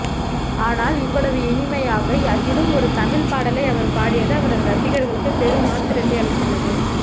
ஆனால் இவ்வளவு இனிமையாக அதிலும் ஒரு தமிழ்ப்பாடலை அவர் பாடியது அவரது ரசிகர்களுக்கு பெரும் ஆச்சரியத்தை அளித்துள்ளது